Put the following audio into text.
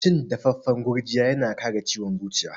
Cin dafaffan gurjiya yana kare ciwon zuciya.